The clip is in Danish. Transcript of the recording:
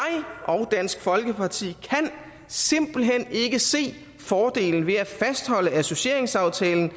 og dansk folkeparti kan simpelt hen ikke se fordelen ved at fastholde associeringsaftalen